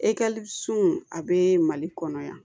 a bɛ mali kɔnɔ yan